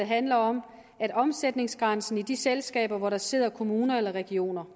handler om omsætningsgrænsen i de selskaber hvor der sidder kommuner eller regioner